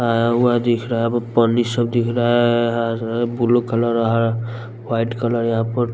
आया हुआ दिख रहा है अब पानी सब दिख रहा है अअहरर ब्लू कलर अहा वाइट कलर यहाँ पर --